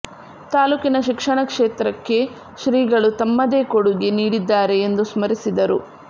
ತಾಲೂಕಿನ ಶಿಕ್ಷಣ ಕ್ಷೇತ್ರಕ್ಕೆ ಶ್ರೀಗಳು ತಮ್ಮದೆ ಕೊಡುಗೆ ನೀಡಿದ್ದಾರೆ ಎಂದು ಸ್ಮರಿಸಿದರು